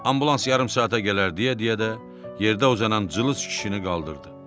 Ambulans yarım saata gələr deyə-deyə də yerdə uzanan cılız kişini qaldırdı.